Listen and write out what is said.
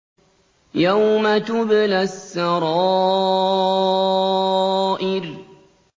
يَوْمَ تُبْلَى السَّرَائِرُ